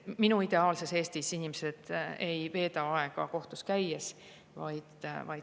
Minu ideaalses Eestis inimesed ei veeda aega kohtus käies.